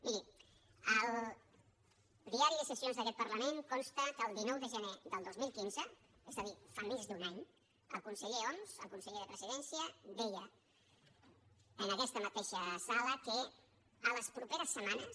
miri al diari de sessions d’aquest parlament consta que el dinou de gener del dos mil quinze és a dir fa més d’un any el conseller homs el conseller de presidència deia en aquesta mateixa sala que en les propers setmanes